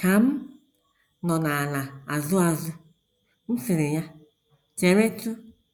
Ka m nọ na - ala azụ azụ, m sịrị ya: Cheretụ!